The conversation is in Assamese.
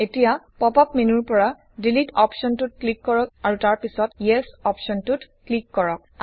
এতিয়া পপ আপ মেনুৰ পৰা ডিলিট অপশ্বনটোত ক্লিক কৰক আৰু তাৰ পিছত ইএছ অপশ্বনটোত ক্লিক কৰক